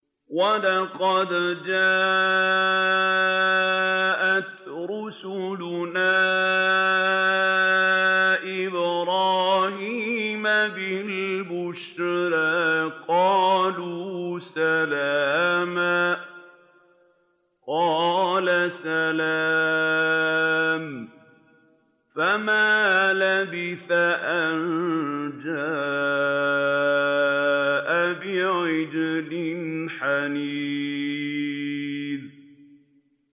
وَلَقَدْ جَاءَتْ رُسُلُنَا إِبْرَاهِيمَ بِالْبُشْرَىٰ قَالُوا سَلَامًا ۖ قَالَ سَلَامٌ ۖ فَمَا لَبِثَ أَن جَاءَ بِعِجْلٍ حَنِيذٍ